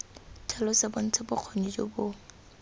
tlhalosa bontsha bokgoni jo bo